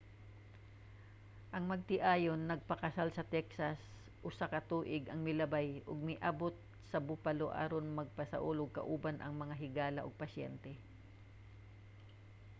ang magtiayon nagpakasal sa texas usa ka tuig ang milabay ug miabut sa buffalo aron magsaulog kauban ang mga higala ug paryente